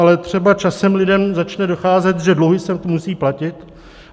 Ale třeba časem lidem začne docházet, že dluhy se musí platit.